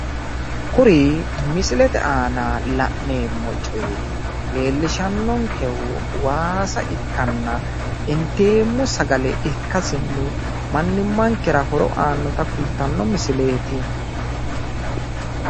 Kuri misilete aana la'neemmo coyi leellishannonkehu waasa ikkanna inteemmo Sagale ikkasinni mannimmankera horo aannota kultanno misileeti